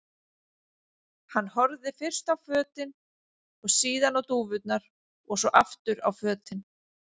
Hann horfði fyrst á fötin og síðan á dúfurnar og svo aftur á fötin.